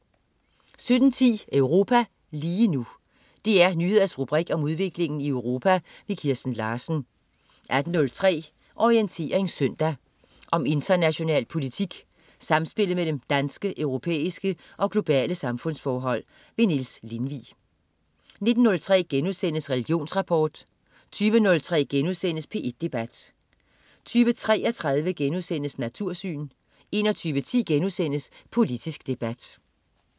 17.10 Europa lige nu. DR Nyheders rubrik om udviklingen i Europa. Kirsten Larsen 18.03 Orientering søndag. Om international politik, samspillet mellem danske, europæiske og globale samfundsforhold. Niels Lindvig 19.03 Religionsrapport* 20.03 P1 Debat* 20.33 Natursyn* 21.10 Politisk debat*